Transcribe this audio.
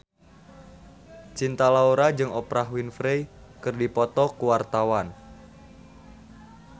Cinta Laura jeung Oprah Winfrey keur dipoto ku wartawan